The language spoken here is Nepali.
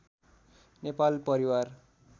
नेपाल परिवार